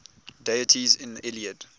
deities in the iliad